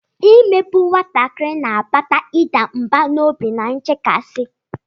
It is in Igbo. Imegbu nwatakịrị na-akpata ịda mbà n'obi na nchekasị.